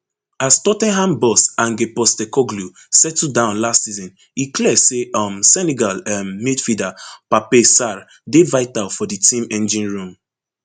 as tot ten ham boss ange postecoglou settle down last season e clear say um senegal um midfielder pape sarr dey vital for di team engine room